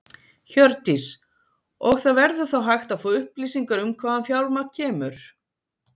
Hjördís: Og það verður þá hægt að fá upplýsingar um hvaðan fjármagn kemur?